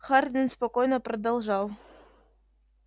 хардин спокойно продолжал